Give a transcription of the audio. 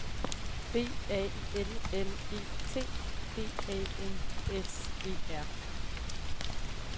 B A L L E T D A N S E R